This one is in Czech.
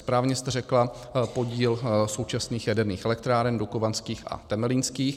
Správně jste řekla podíl současných jaderných elektráren dukovanských a temelínských.